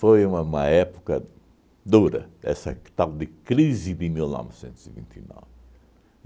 Foi uma uma época dura, essa tal de crise de mil novecentos e vinte e nove.